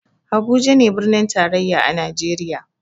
Habuja ne birnin tarayya a najeriya